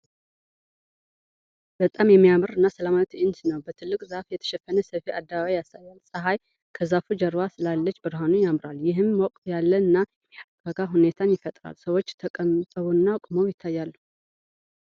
በጣም የሚያምር እና ሰላማዊ ትዕይንት ነው! በትልቅ ዛፍ የተሸፈነ ሰፊ አደባባይ ያሳያል። ፀሐይ ከዛፉ ጀርባ ስላለች ብርሃኑ ያምራል፣ ይህም ሞቅ ያለ እና የሚያረጋጋ ሁኔታን ይፈጥራል። ሰዎች ተቀምጠውና ቆመው ይታያሉ፡፡